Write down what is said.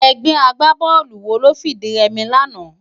Ègbè ágbábòlú wó ló fi di rèmi làná?